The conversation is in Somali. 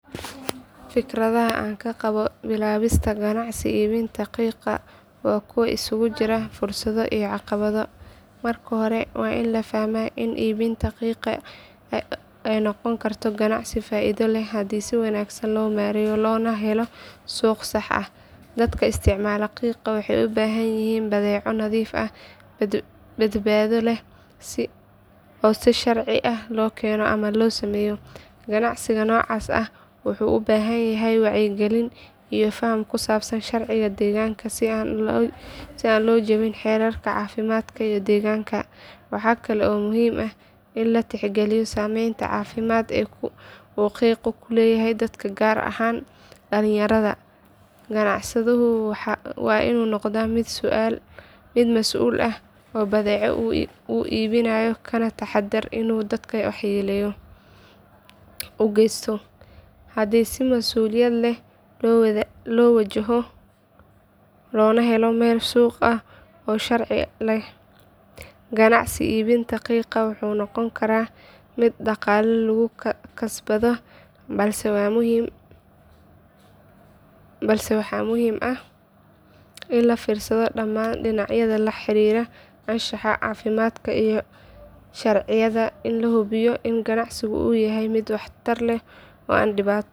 Fikradaha aan ka qabo bilaabista ganacsi iibinta qiiqa waa kuwo isugu jira fursado iyo caqabado. Marka hore waa in la fahmaa in iibinta qiiqa ay noqon karto ganacsi faa’iido leh haddii si wanaagsan loo maareeyo loona helo suuq sax ah. Dadka isticmaala qiiqa waxay u baahan yihiin badeeco nadiif ah, badbaado leh oo si sharci ah loo keeno ama loo sameeyo. Ganacsiga noocaas ah wuxuu u baahan yahay wacyigelin iyo faham ku saabsan sharciga deegaanka si aan loo jabin xeerarka caafimaadka iyo deegaanka. Waxaa kale oo muhiim ah in la tixgeliyo saameynta caafimaad ee uu qiiqu ku leeyahay dadka gaar ahaan dhallinyarada. Ganacsaduhu waa inuu noqdaa mid mas’uul ka ah badeecada uu iibinayo kana taxadira inuu dadka waxyeello u geysto. Haddii si mas’uuliyad leh loo wajahdo, loona helo meel suuq ah oo sharci ah, ganacsiga iibinta qiiqa wuxuu noqon karaa mid dhaqaale lagu kasbado balse waxaa muhiim ah in laga fiirsado dhammaan dhinacyada la xiriira anshaxa, caafimaadka iyo sharciyada si loo hubiyo in ganacsigu yahay mid waxtar leh oo aan dhibaato.